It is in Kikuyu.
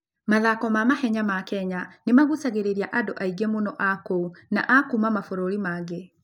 Mathako ma mahenya ma Kenya nĩ magucagĩrĩria andũ aingĩ mũno a kũu na a kuuma mabũrũri mangĩ.